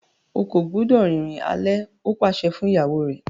O kò gbúdọ̀ rìnrìn alẹ́! ó pàṣẹ fún ìyàwó rẹ̀.